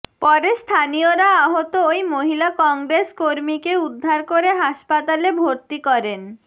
পরে স্থানীয়রা আহত ওই মহিলা কংগ্রেস কর্মীকে উদ্ধার করে হাসপাতালে ভরতি করেন